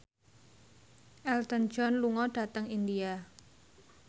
Elton John lunga dhateng India